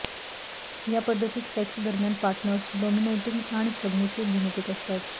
या पद्धतीत सेक्स दरम्यान पार्टनर्स डॉमिनेटिंग आणि सबमिसिव्ह भूमिकेत असतात